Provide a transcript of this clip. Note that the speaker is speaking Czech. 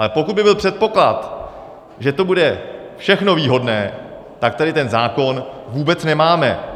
Ale pokud by byl předpoklad, že to bude všechno výhodné, tak tady ten zákon vůbec nemáme.